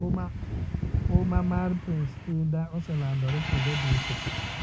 Huma mar Prince Indah oselandorwe kuonde duto